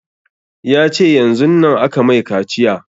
Ya ce yanzun nan aka mai kaciya